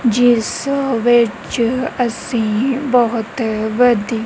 ਜਿੱਸ ਵਿੱਚ ਅੱਸੀ ਬੋਹਤ ਵਧੀ--